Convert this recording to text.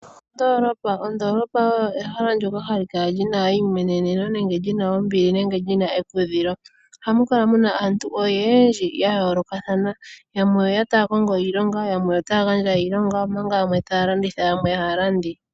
Ondoolopa oyo ehala ndyoka hali kala li na eimweneneno, ombili nenge ekudhilo. Ohamu kala mu na aantu oyendji ya yoolokathana . Yamwe oye ya taya kongo iilonga , yamwe ohaya gandja iilonga, omanga yamwe taya landitha, yo yamwe aalandi.